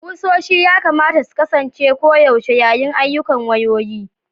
ƙusoshi ya kamata su kasance koyaushe yayin ayyukan wayoyi